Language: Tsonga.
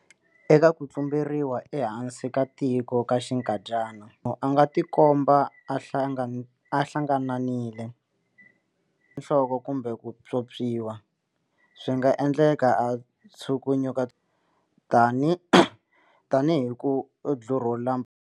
Eka ku tlumberiwa ehansi ko tika ka xinkadyana, a nga tikomba a hlangananile nhloko kumbe ku pyopyiwa. Swi nga endleka a tshukunyukatshukunya, tanihi ku dlurhula.